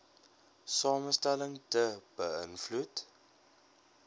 samestelling be ïnvloed